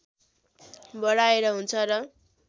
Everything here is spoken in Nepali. बढाएर हुन्छ र